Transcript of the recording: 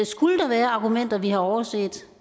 skulle der være argumenter vi har overset